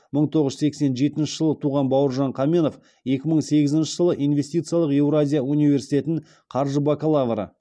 мың тоғыз жүз сексен жетінші жылы туған бауыржан қаменов екі мың сегізінші жылы инвестициялық еуразия университетін қаржы бакалавры